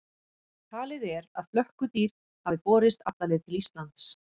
Talið er að flökkudýr hafi borist alla leið til Íslands.